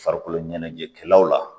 Farikolo ɲɛnajɛkɛlaw la